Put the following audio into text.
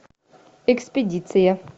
экспедиция